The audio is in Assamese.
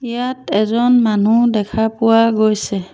ইয়াত এজন মানুহ দেখা পোৱা গৈছে।